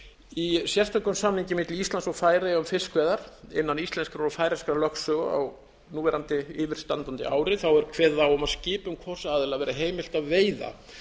í sérstökum samningi milli íslands og færeyja um fiskveiðar innan íslenskrar og færeyskrar lögsögu á núverandi yfirstandandi ári er kveðið á um að skipum hvors aðila verði heimilt að veiða